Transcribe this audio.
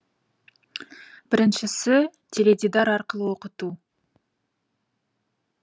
біріншісі теледидар арқылы оқыту